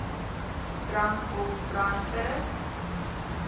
drank of brandspiritus